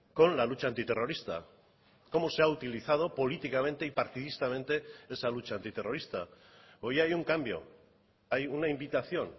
con la lucha antiterrorista cómo se ha utilizado políticamente y partidistamente esa lucha antiterrorista hoy hay uncambio hay una invitación